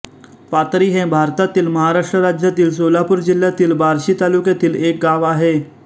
पाथरी हे भारतातील महाराष्ट्र राज्यातील सोलापूर जिल्ह्यातील बार्शी तालुक्यातील एक गाव आहे